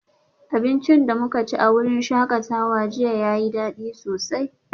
Abincin da muka ci a wurin shakatawa jiya yayi dadi sosai